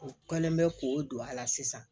U kɛlen bɛ k'o don a la sisan